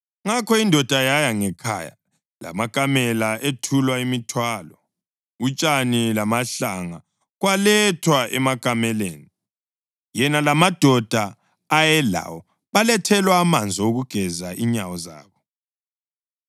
Ngakho indoda yaya ngekhaya, lamakamela ethulwa imithwalo. Utshani lamahlanga kwalethwa emakameleni, yena lamadoda ayelawo balethelwa amanzi okugeza inyawo zabo.